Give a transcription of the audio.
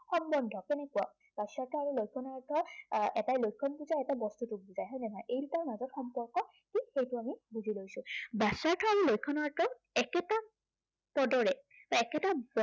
সম্বন্ধ কেনেকুৱা। বাচ্য়াৰ্থ আৰু লক্ষণাৰ্থৰ আহ এটা লক্ষণ হৈছে আৰু আহ এটাই লক্ষণটোক বুজায় হয় নে নহয়? ইয়া দুটাৰ মাজৰ সম্পৰ্ক ঠিক সেইটো আমি বুজি লৈছে। বাচ্য়াৰ্থ আৰু লক্ষণাৰ্থৰ একেটা পদৰে বা একেটা